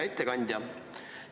Hea ettekandja!